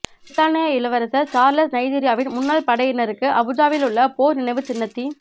பிரித்தானிய இளவரசர் சார்ள்ஸ் நைஜீரியாவின் முன்னாள் படையினருக்கு அபுஜாவிலுள்ள போர் நினைவுச் சின்னத்தி